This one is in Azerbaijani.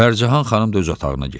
Pərcahan xanım da öz otağına getdi.